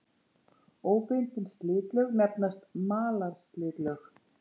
Óbundin slitlög nefnast malarslitlög.